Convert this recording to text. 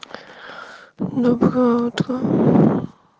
доброе утро